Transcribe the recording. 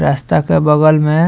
रास्ता के बगल में --